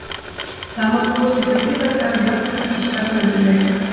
Það má búast við gríðarlega jöfnum og spennandi leik.